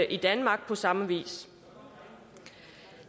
i danmark på samme vis